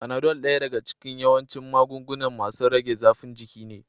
Fanado daya daga cikin yawancin magunguna masun rage zaffin jiki ne.